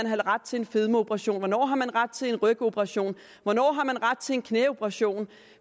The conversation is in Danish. have ret til en fedmeoperation hvornår man har ret til en rygoperation hvornår man har ret til en knæoperation